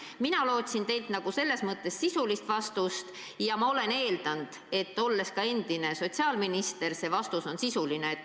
Mina lootsin teilt sisulist vastust ja olles endine sotsiaalminister, ma eeldasin, et see vastus on sisuline.